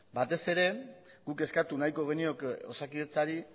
batez ere guk eskatu nahiko genioke osakidetzari